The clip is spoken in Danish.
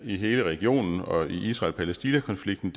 i hele regionen og i israel palæstina konflikten